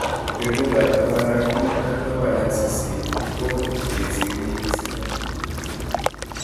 Kwenuut ap taman ak mut ak taman ak sisitkeiti ko kagesiir nyigisindo